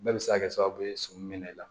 Bɛɛ bɛ se ka kɛ sababu ye sɔmi mɛnɛ i la